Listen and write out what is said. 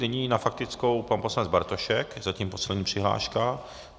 Nyní na faktickou pan poslanec Bartošek, zatím poslední přihláška.